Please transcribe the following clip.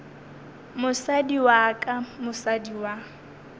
mosadi wa ka mosadi wa